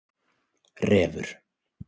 Refur